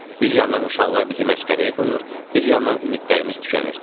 Bir yandan uşaqlar bizi məsxərəyə qoyur, bir yandan ümidlərimiz tükənirdi.